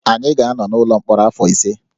Anyị ga-anọ n’ụlọ mkpọrọ afọ ise